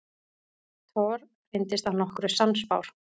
Thor reyndist að nokkru sannspár.